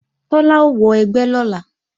Tọ́lá ó wọ ẹgbẹ́ lọ́la